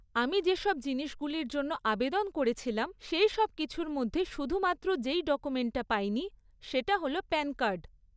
আমি যেসব জিনিসগুলির জন্য আবেদন করেছিলাম, সেইসব কিছুর মধ্যে শুধুমাত্র যেই ডকুমেন্টটা পাইনি সেটা হল প্যান কার্ড।